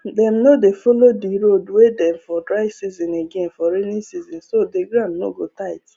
dem no dey follow the road wey dem for dry season again for rainy season so the ground no go tight